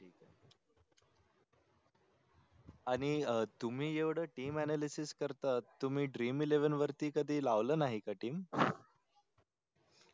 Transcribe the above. आणि तुम्ही एवढ TEAMANALYSIS करता तुम्ही DREAMELEVEN वरती कधी लावल नाही का TEAM